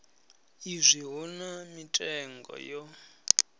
izwi hu na mitengo yo